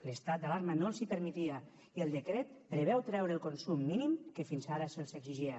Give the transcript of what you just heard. l’estat d’alarma no els hi permetia i el decret preveu treure el consum mínim que fins ara se’ls exigia